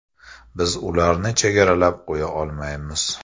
Biz ularni chegaralab qo‘ya olmaymiz.